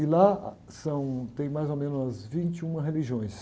E lá são, tem mais ou menos umas vinte e uma religiões.